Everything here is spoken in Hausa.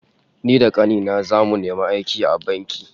Ni da kani na zamu nemi aiki a banki